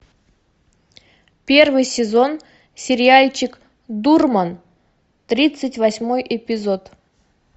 первый сезон сериальчик дурман тридцать восьмой эпизод